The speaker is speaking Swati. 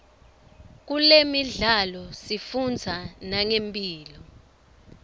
kulemidlalo sifundza nangemphilo